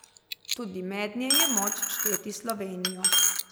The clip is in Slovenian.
Tudi mednje je moč šteti Slovenijo.